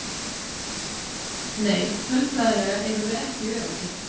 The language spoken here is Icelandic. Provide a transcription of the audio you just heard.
Nei tölfræðilega erum við ekki öruggir.